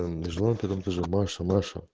жила на пятом этаже баша маша